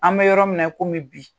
An mɛ yɔrɔ min na i komi bi.